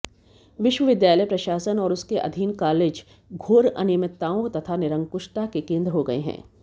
विश्वविघालय प्रशासन और उसके अधीन कालेज घोर अनियमितताओं तथा निरंकुशता के केन्द्र हो गये है